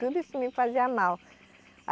Tudo isso me fazia mal.